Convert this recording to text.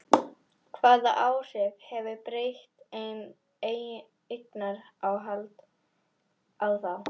Hvaða áhrif hefur breytt eignarhald á þá?